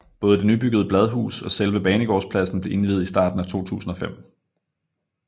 Både det nybyggede bladhus og selve Banegårdspladsen blev indviet i starten af 2005